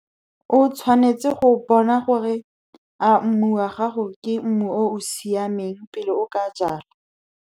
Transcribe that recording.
O tshwanetse go bona gore a mmu wa gago ke mmu o o siameng, pele o ka jala.